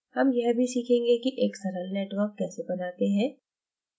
हम यह भी सीखेंगे कि एक सरल network कैसे बनाते हैं